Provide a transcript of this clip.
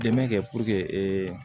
Dɛmɛ kɛ ee